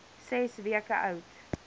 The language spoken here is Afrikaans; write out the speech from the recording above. ses weke oud